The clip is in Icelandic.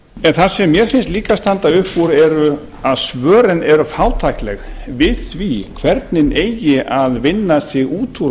en það sem mér finnst líka standa upp úr er að svörin eru fátækleg við því hvernig eigi að vinna sig út úr